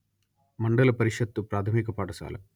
మండల పరిషత్తు ప్రాథమిక పాఠశాల